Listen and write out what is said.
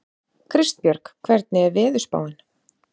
Kristbjörg, hvernig er veðurspáin?